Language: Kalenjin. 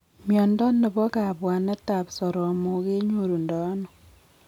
Mnyondo nebo kabwanet ab soromok kenyorundano?